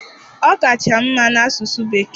Ọ kacha m mma n'asụ Bekee.